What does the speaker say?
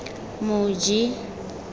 moji